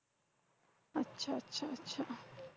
আচ্ছা আচ্ছা আচ্ছা।